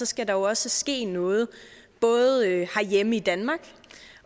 skal der også ske noget både herhjemme i danmark